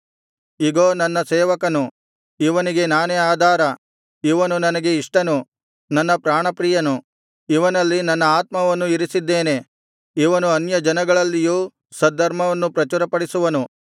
ಇಗೋ ನನ್ನ ಸೇವಕನು ಇವನಿಗೆ ನಾನೇ ಆಧಾರ ಇವನು ನನಗೆ ಇಷ್ಟನು ನನ್ನ ಪ್ರಾಣಪ್ರಿಯನು ಇವನಲ್ಲಿ ನನ್ನ ಆತ್ಮವನ್ನು ಇರಿಸಿದ್ದೇನೆ ಇವನು ಅನ್ಯಜನಗಳಲ್ಲಿಯೂ ಸದ್ಧರ್ಮವನ್ನು ಪ್ರಚುರಪಡಿಸುವನು